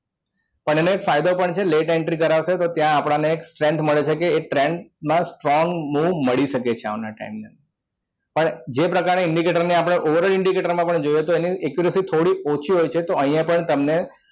પણ એને late entry કરાવશે ત્યાં આપણને એક strength મળે છે કે એક trend strong move મળી શકે છે એના time ને પણ જે પ્રકારના indicators ને આપને over indicator તો પણ accuracy થોડી ઓછી હોય છે તો અહીંયા પણ તમને